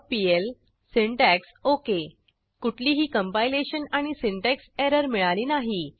conditionalblocksपीएल syntax ok कुठलीही compilation आणि syntax error मिळाली नाही